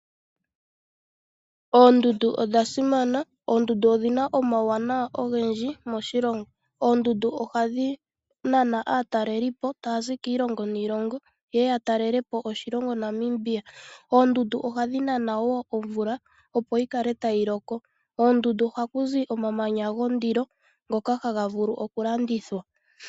Oondundu odha simana, oondundu odhina omauwanawa ogendji moshilongo. Oondundu ohadhi nana aataleli po taya zi kiilongo niilongo yeye ya ta lele po oshilongo Namibia. Oondundu ohadhi nana woo omvula opo yi kale tayi loko. kondundu oha kuzi omamanya go ndilo ngoka haga vulu oku landithwa.